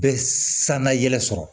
Bɛ san na yɛlɛ sɔrɔ